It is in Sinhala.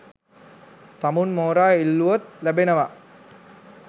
තමුන් මෝරා ඉල්ලුවොත් ලැබෙනවා